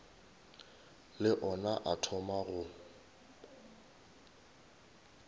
le ona a thoma go